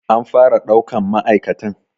An fara ɗaukan ma'aikatan.